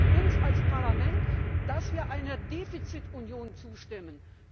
Sie zwingen uns als Parlament, dass wir einer Defizitunion zustimmen!